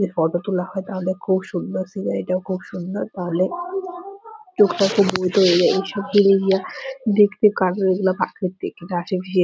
যদি ফটো তোলা হয় তাহলে খুব সুন্দর সিনারি টাও খুব সুন্দর তাহলে দেখতে ৷